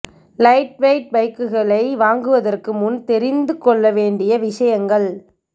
light weight பைக்குகளை வாங்குவதற்கு முன் தெரிந்து கொள்ள வேண்டிய விஷயங்கள்